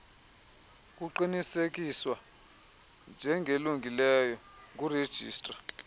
kuqinisekiswa njengelungileyo ngurejistra